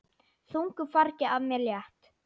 Þungu fargi af mér létt.